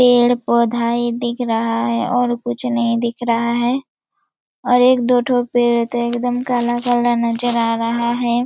पेड़-पौधे दिख रहा है और कुछ नहीं दिख रहा है और एक दो ठो पेड़ है तो एकदम काला-काला नज़र आ रहा है।